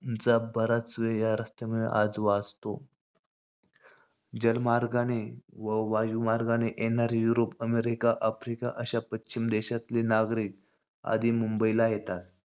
ज~ बराच वेळ या रस्त्यामुळे आज वाचतो. जलमार्गाने व वायुमार्गाने येणारे युरोप, अमेरिका, आफ्रिका अश्या पश्चिमी देशातले नागरिक आधी मुंबईला येतात.